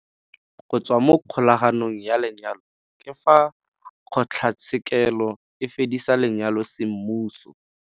Go tswa mo kgolaganong ya lenyalo ke fa kgotlatshekelo e fedisa lenyalo semmuso.